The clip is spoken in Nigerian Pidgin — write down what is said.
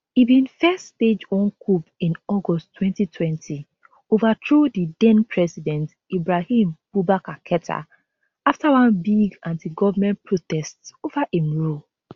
e bin first stage one coup in august 2020 overthrow di denpresident ibrahim boubacar keta afta one big antigovment protests over im rule